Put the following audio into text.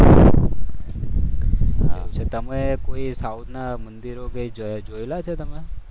તમે કઈ કોઈ સાઉથ ના મંદિરો જોયેલા છે કે?